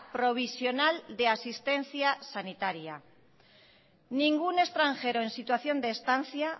provisional de asistencia sanitaria ningún extranjero en situación de estancia